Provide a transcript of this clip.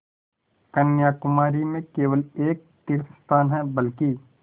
कन्याकुमारी में केवल एक तीर्थस्थान है बल्कि